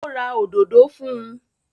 Ó ra òdodo fún un?